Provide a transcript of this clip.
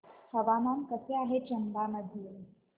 हवामान कसे आहे चंबा मध्ये